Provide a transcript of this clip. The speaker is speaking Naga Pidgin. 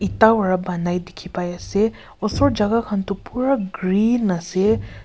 Itha para banai dekeh pai ase usor jaka khan tuh pura green ase.